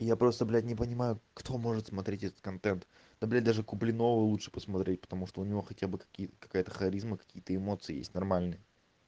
я просто блядь не понимаю кто может смотреть этот контент да блин даже куплинова лучше посмотреть потому что у него хотя бы какие-то какая-то харизма какие-то эмоции есть нормальные